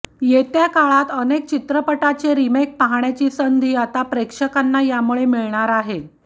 येत्या काळात अनेक चित्रपटाचे रिमेक पाहण्याची संधी आता प्रेक्षकांना यामुळे मिळणार आहे